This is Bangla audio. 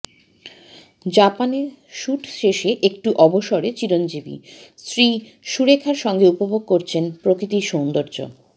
জাপানে শুট শেষে একটু অবসরে চিরঞ্জীবি স্ত্রী সুরেখার সঙ্গে উপভোগ করছেন প্রকৃতির সৌন্দর্য